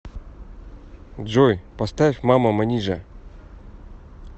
джой поставь мама манижа